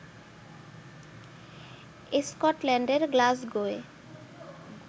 স্কটল্যান্ডের গ্লাসগোয়